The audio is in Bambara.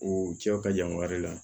O cɛw ka jan wari la